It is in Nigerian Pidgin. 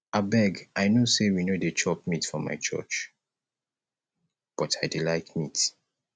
abeg i no say we no dey chop meat for my church but i dey like meat